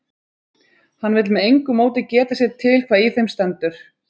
Hann vill með engu móti geta sér til hvað í þeim stendur.